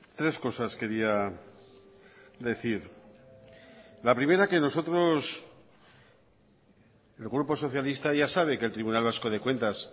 tres cosas quería decir la primera que nosotros el grupo socialista ya sabe que el tribunal vasco de cuentas